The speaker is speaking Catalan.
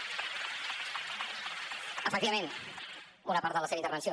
efectivament una part de la seva intervenció